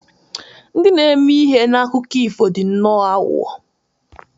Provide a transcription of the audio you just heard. Ndị na-eme ihe na akụkọ ifo dị nnọọ aghụghọ.